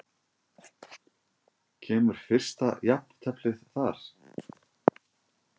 Kemur fyrsta jafnteflið þar?